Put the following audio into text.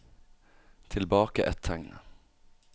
Tilbake ett tegn